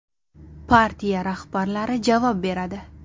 Partiya rahbarlari javob beradi.